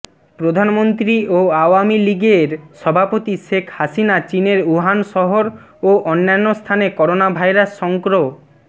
প্রধানমন্ত্রী ও আওয়ামী লীগের সভাপতি শেখ হাসিনা চীনের উহান শহর ও অন্যান্য স্থানে করোনাভাইরাস সংক্র